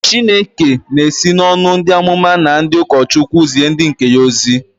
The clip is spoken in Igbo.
Chineke na-esi n'ọnụ ndị amụma na ndị ụkọchukwu zie ndị nke ya ozi.